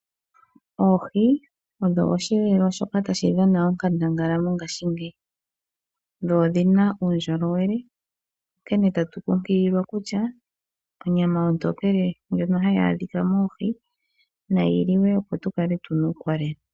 Oohi odho osheelelwa shoka tashi dhana onkandangala mongaashingeyi dho odhina uundjolowele. Onkene tatu kunkililwa kutya , onyama ontokele ndjono hayi adhika moohi, nayi liwe opo tukale tuna uukolele.